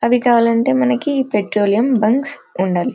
అది కావాలంటే మనకి పెట్రోలియం బంక్స్ ఉండాలి.